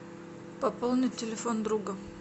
пополнить телефон друга